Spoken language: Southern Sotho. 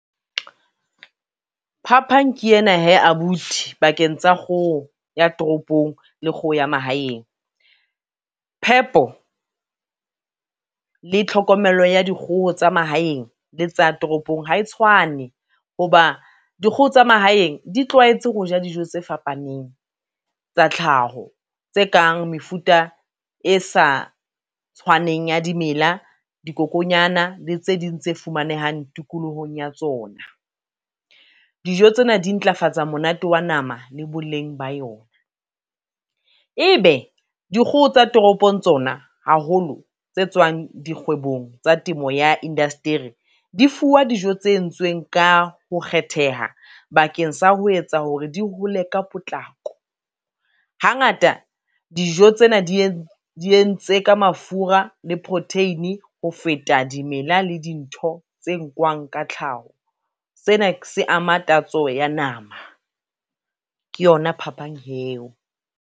Phaphang ke ena he abuti pakeng tsa kgoho ya toropong le kgoho ya mahaeng, phepo le tlhokomelo ya dikgoho tsa mahaeng le tsa toropong ha e tshwane ho ba, dikgoho tsa mahaeng di tlwaetse ho ja dijo tse fapaneng tsa tlhaho, tse kang mefuta e sa tshwaneng ya dimela, dikokonyana le tse ding tse fumanehang tikolohong ya tsona. Dijo tsena di ntlafatsa monate wa nama le boleng ba yona, ebe dikgoho tsa toropong tsona haholo tse tswang dikgwebong tsa temo ya indasteri, di fuwa dijo tse entsweng ka ho kgetheha bakeng sa ho etsa hore di hole ka potlako. Hangata dijo tsena di entse ka mafura le protein ho feta dimela le dintho tse nkwang ka tlhaho, seena se ama tatso ya nama, ke yona phapang he eo.